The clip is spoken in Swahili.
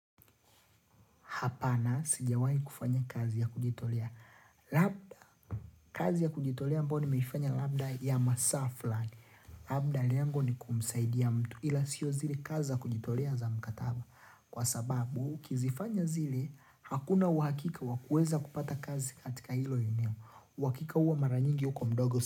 Hapana, sijawahi kufanya kazi ya kujitolea. Labda, kazi ya kujitolea ambayo nimeifanya labda ya masaa flani. Labda lengo ni kumsaidia mtu ila sio zile kazi za kujitolea za mkataba. Kwa sababu, ukizifanya zile, hakuna uhakika wakueza kupata kazi katika hilo eneo. Wakika uwa maranyingi uko mdogo.